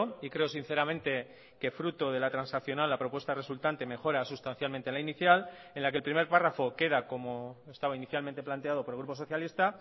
y creo sinceramente que fruto de la transaccional la propuesta resultante mejora sustancialmente la inicial en la que el primer párrafo queda como estaba inicialmente planteado por el grupo socialista